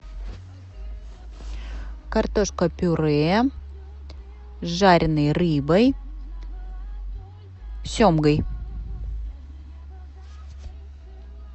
картошка пюре с жареной рыбой семгой